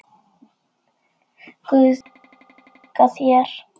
Guð mun bjarga þér.